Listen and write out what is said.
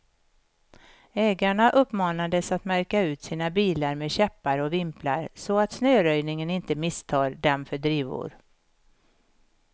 Ägarna uppmanades att märka ut sina bilar med käppar och vimplar, så att snöröjningen inte misstar dem för drivor.